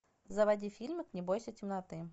заводи фильм не бойся темноты